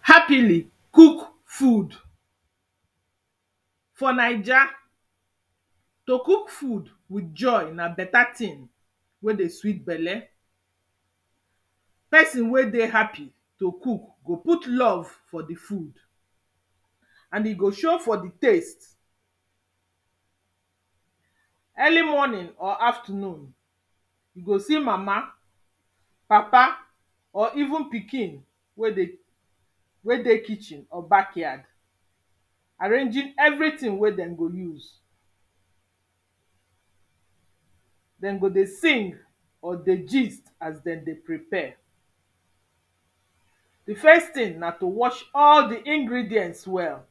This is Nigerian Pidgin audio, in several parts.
Happily cook food. For Naija, to cook food with joy na better thing wey dey sweet belle. Person wey dey happy to cook, go put love for di food, and e go show for di taste, early morning or afternoon, you go see mama, papa, or even pikin wey dey wey dey kitchen or backyard, arranging every thing wen dem go use. Dem go dey gist or dey sing as dem dey prepare. Di first thing na to wash all di ingredients well,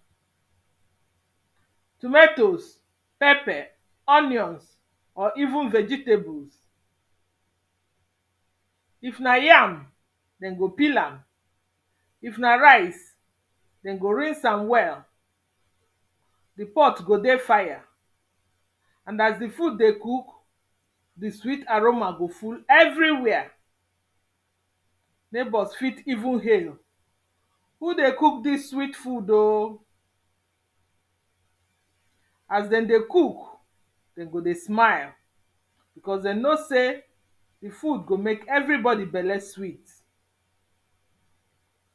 tomatoes, pepper, onions or even vegetables. If na yam, dem go peel am, if na rice dem go rinse am well. Di pot go dey fire, and as di food dey cook, di sweet aroma go full everywhere, neighbours fit even hail, who dey cook dis sweet food oh! As dem dey cook, dem go dey smile, because dem know sey di food go make everybody belle sweet.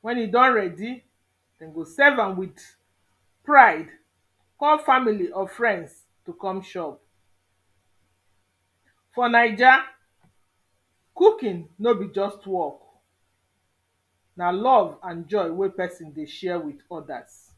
Wen e don ready, dem go serve am with pride, call family or friends to come chop. For Naija, cookin no be just work, na love and joy wey person dey share with odas.